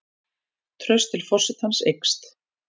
Traust til forsetans eykst